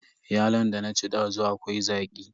Yalon da na ci dazu akwai zaƙi.